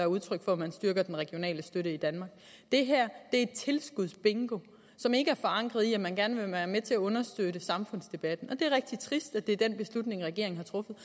udtryk for at man styrker den regionale støtte i danmark det her er tilskudsbingo som ikke er forankret i at man gerne vil være med til at understøtte samfundsdebatten og det er rigtig trist at det er den beslutning regeringen har truffet